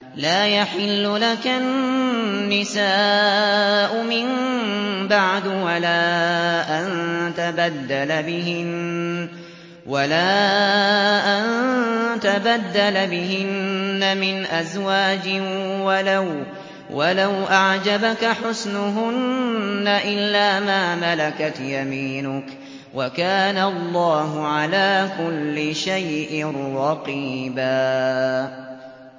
لَّا يَحِلُّ لَكَ النِّسَاءُ مِن بَعْدُ وَلَا أَن تَبَدَّلَ بِهِنَّ مِنْ أَزْوَاجٍ وَلَوْ أَعْجَبَكَ حُسْنُهُنَّ إِلَّا مَا مَلَكَتْ يَمِينُكَ ۗ وَكَانَ اللَّهُ عَلَىٰ كُلِّ شَيْءٍ رَّقِيبًا